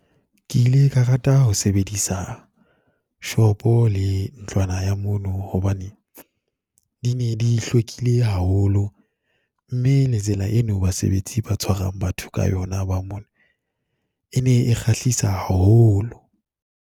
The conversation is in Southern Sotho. Ke ile ka rata ho sebedisa shopo le ntlwana ya mono, hobane di ne di hlwekile haholo mme le tsela e no basebetsi ba tshwarang batho ka yona ba mono, e ne e kgahlisang haholo.